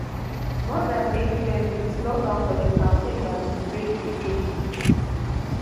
more dan eight years dia slogan for di campaign na to break di eight